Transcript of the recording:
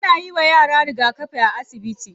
Ana yiwa yaran rigakafi a asibiti.